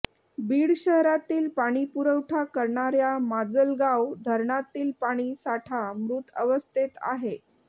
बीड शहरातील पाणी पुरवठा करणाऱ्या माजलगाव धरणातील पाणी साठा मृत अवस्थेत आहे